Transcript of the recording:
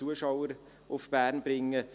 ich glaube, davon kann man ausgehen.